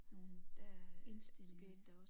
Nogle indstillinger